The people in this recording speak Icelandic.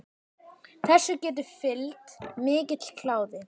Þessu getur fylgt mikill kláði.